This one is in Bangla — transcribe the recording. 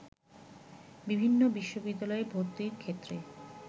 বিভিন্ন বিশ্ববিদ্যালয়ে ভর্তির ক্ষেত্রে